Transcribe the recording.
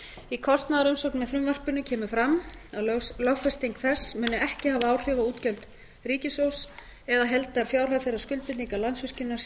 í kostnaðarumsögn með frumvarpinu kemur fram að lögfesting þess muni ekki hafa áhrif á útgjöld ríkissjóðs eða heildarfjárhæð þeirra skuldbindinga landsvirkjunar